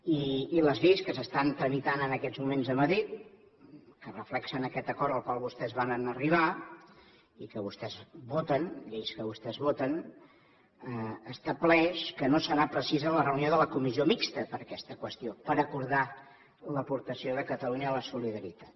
i les lleis que s’estan tramitant en aquests moments a madrid que reflecteixen aquest acord al qual vostès varen arribar i que vostès voten lleis que vostès voten estableix que no serà precisa la reunió de la comissió mixta per aquesta qüestió per acordar l’aportació de catalunya a la solidaritat